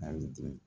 A ye den